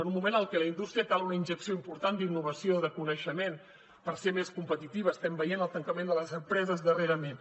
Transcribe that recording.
en un moment en el que a la indústria cal una injecció important d’innovació de coneixement per ser més competitiva estem veient el tancament de les empreses darrerament